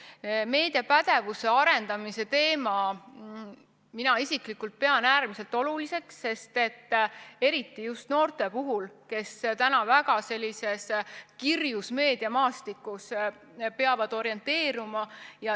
Mina isiklikult pean meediapädevuse arendamise teemat äärmiselt oluliseks, eriti just noorte puhul, kes täna väga kirjul meediamaastikul peavad orienteeruma.